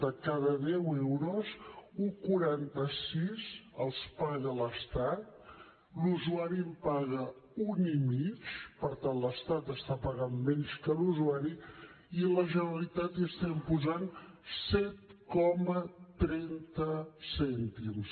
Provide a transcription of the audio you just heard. de cada deu euros un coma quaranta sis els paga l’estat l’usuari en paga un i mig per tant l’estat està pagant menys que l’usuari i la generalitat hi estem posant set coma trenta cèntims